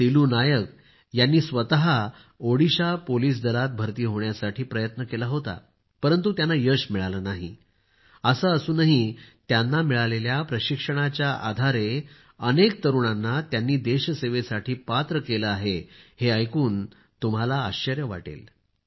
सिल्लू नायक यांनी स्वतः ओडिशा पोलिस दलात भरती होण्यासाठी करण्याचा प्रयत्न केला होता परंतु त्यांना यश मिळाले नाही असे असूनही त्यांनी त्यांना मिळालेल्या प्रशिक्षणाच्या आधारे अनेक तरुणांना देश सेवेसाठी पात्र केले आहे हे ऐकून देखील तुम्हाला आश्चर्य वाटेल